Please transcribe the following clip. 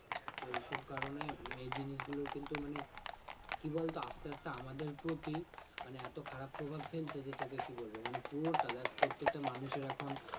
তো এইসব কারণে উম এই জিনিসগুলো কিন্তু মানে কি বলতো আস্তে আস্তে আমাদের প্রতি মানে এত খারাপ প্রভাব ফেলছে যে তোকে কি বলবো মানে পুরোটা দেখ প্রত্যেকটা মানুষের এখন